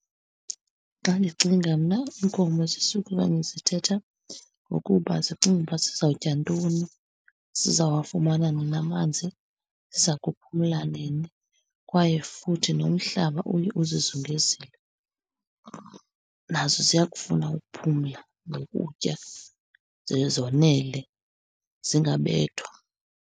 Xa ndicinga mna iinkomo zisukuba zithetha ngokuba zicinga ukuba zizawutya ntoni, zizawafumana nini amanzi, ziza kuphumla nini, kwaye futhi nomhlaba uye uzizulise. Nazo ziyakufuna ukuphumla nokutya ze zonele, zingabethwa.